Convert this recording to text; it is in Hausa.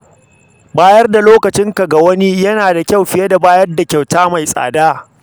Bayar da lokacinka ga wani yana ba da ƙima fiye da kyauta mai tsada.